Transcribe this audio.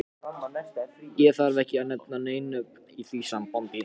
Og þarf ekki að nefna nein nöfn í því sambandi.